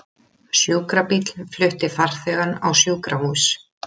Sjúkrabíll flutti farþegann á sjúkrahús